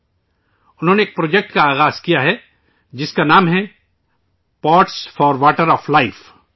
انہوں نے ایک پروجیکٹ شروع کیا ہے ، جس کا نام ہے ' pots for water of life '